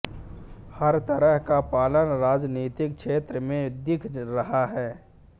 हर तरह का पतन राजनीतिक क्षेत्र में दिख रहा है